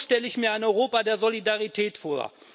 So stelle ich mir ein Europa der Solidarität vor.